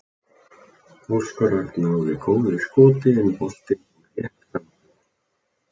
Óskar Örn náði góðu skoti en boltinn fór rétt framhjá.